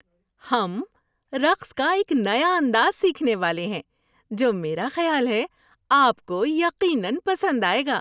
ہم رقص کا ایک نیا انداز سیکھنے والے ہیں جو میرا خیال ہے آپ کو یقیناً پسند آئے گا۔